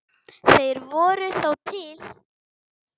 Þeir voru þó til.